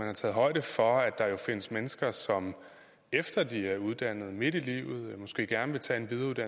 har taget højde for at der jo findes mennesker som efter de er uddannet midt i livet måske gerne vil tage